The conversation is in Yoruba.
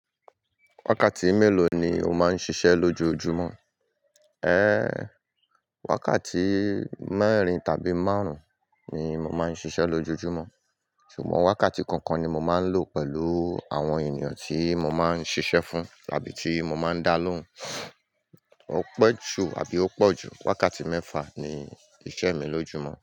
Wákàtí mélòó ni o máa ń ṣiṣẹ́ lójoojúmọ́? Wákàtí mẹ́rin tàbí márùn-ún ni mo máa ń ṣiṣẹ́ lójoojúmọ́. Ṣùgbọ́n wákàtí kọ̀ọ̀kan ni mo máa ń lò pẹ̀lú àwọn ènìyàn tí mo máa ń ṣiṣẹ́ fún tàbí tí mo máa ń dá lóhùn. Ó pẹ́ jù àbí ó pọ̀ jù, wákàtí mẹ́fà ni iṣẹ́ mi lójoojúmọ́.